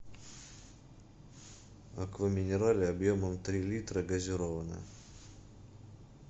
аква минерале объемом три литра газированная